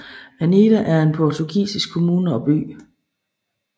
Anadia er en portugisisk kommune og by